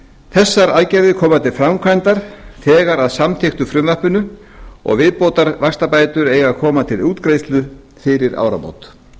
þessar aðgerðir koma til framkvæmda þegar að samþykktu frumvarpinu og viðbótarvaxtabætur eiga að koma til útgreiðslu fyrir áramót